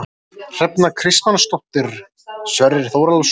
Hrefna Kristmannsdóttir, Sverrir Þórhallsson